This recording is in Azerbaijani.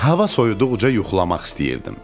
Hava soyuduqca yuxulamaq istəyirdim.